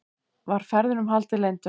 Var ferðunum haldið leyndum